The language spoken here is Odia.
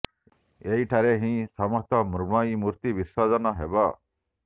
ଏହି ଠାରେ ହିଁ ସମସ୍ତ ମୃଣ୍ମୟୀ ମୂର୍ତ୍ତି ବିସର୍ଜନ ହେବ